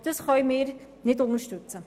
Dies können wir nicht unterstützen.